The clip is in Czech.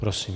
Prosím.